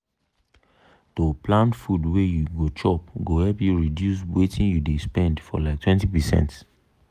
to plan food wey you go chop go help you reduce wetin you dey spend for like 20%.